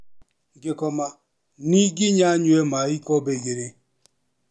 Ngĩkoma ninginya nyue maĩ ikombe ĩgĩrĩ.